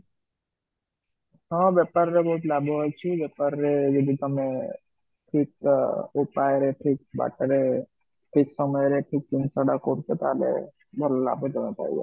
ହଁ ବେପାର ରେ ବହୁତ ଲାଭ ଅଛି, ବେପାର ରେ ଯଦି ତମେ ଠିକ ଅ ଉପାୟ ରେ ଠିକ ବାଟରେ ଠିକ ସମୟ ରେ ଠିକ ଜିନ୍ସଟା କରୁଛ ତାହାହେଲେ ତମେ ଲାଭଟା ପାଇବ